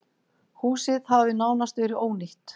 Húsið hafi nánast verið ónýtt.